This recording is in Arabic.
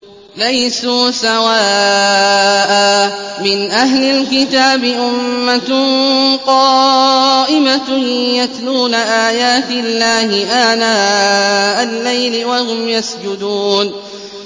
۞ لَيْسُوا سَوَاءً ۗ مِّنْ أَهْلِ الْكِتَابِ أُمَّةٌ قَائِمَةٌ يَتْلُونَ آيَاتِ اللَّهِ آنَاءَ اللَّيْلِ وَهُمْ يَسْجُدُونَ